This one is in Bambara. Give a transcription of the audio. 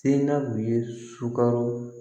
Se namu ye sukaro